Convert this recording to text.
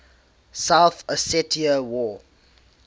south ossetia war